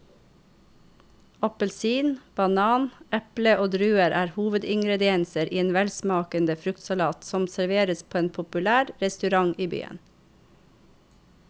Appelsin, banan, eple og druer er hovedingredienser i en velsmakende fruktsalat som serveres på en populær restaurant i byen.